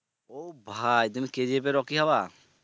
ও ভাই তুমি kgf এর রকি হবা?